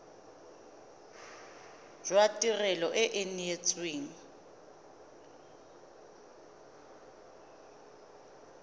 jwa tirelo e e neetsweng